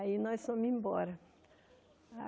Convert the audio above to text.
Aí nós fomos embora.